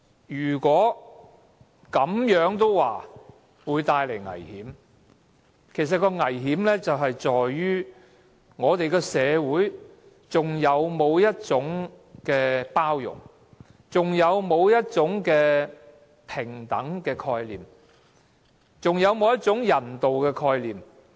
如果這樣，也說會帶來危險，其實當中的危險在於我們的社會有否包容？有否平等概念？有否人道概念？